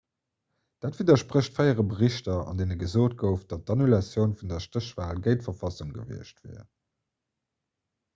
dat widdersprécht fréiere berichter an deene gesot gouf datt d'annulatioun vun der stéchwal géint d'verfassung gewiescht wier